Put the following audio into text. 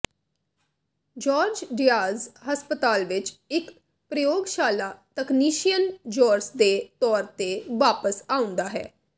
George Diaz ਹਸਪਤਾਲ ਵਿੱਚ ਇੱਕ ਪ੍ਰਯੋਗਸ਼ਾਲਾ ਤਕਨੀਸ਼ੀਅਨ ਜੋਰਜ ਦੇ ਤੌਰ ਤੇ ਵਾਪਸ ਆਉਂਦਾ ਹੈ